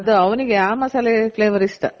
ಹ ಅದು ಅವಂಗೆ ಆ ಮಸಾಲೆ flavour ಇಷ್ಟ